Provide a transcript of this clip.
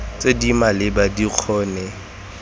tse di maleba di kgone